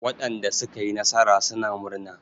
Waɗanda suka yi nasara suna murna.